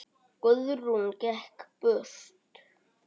Guðrún gekk burt.